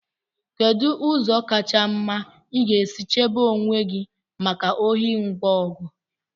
kedu ụzọ kacha mma ị ga-esi chebe onwe gị maka ohi ngwa ọgụ